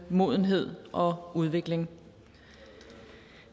modenhed og udvikling